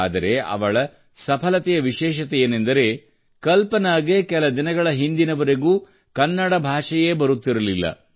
ಆದರೆ ಅವಳ ಸಫಲತೆಯ ವಿಶೇಷತೆಯೇನೆಂದರೆ ಕಲ್ಪನಾಗೆ ಕೆಲ ದಿನಗಳ ಹಿಂದಿನವರೆಗೂ ಕನ್ನಡ ಭಾಷೆಯೇ ಬರುತ್ತಿರಲಿಲ್ಲ